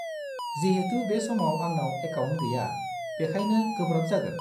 -जिहेतु बे समाव आंनाव एकाउन्ट गैया, बेखायनो गोब्राब जागोन।